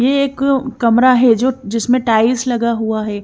ये एक कमरा है जो जिसमें टाइल्स लगा हुआ है।